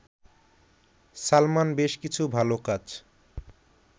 সালমান বেশ কিছু ভালো কাজ